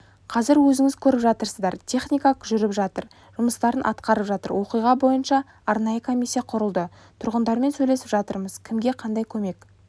қазір өзіңіз көріп жатырсыздар техника жүріп жатыр жұмыстарын атқарып жатыр оқиға бойынша арнайы комиссия құрылды тұрғындармен сөйлесіп жатырмыз кімге қандай көмек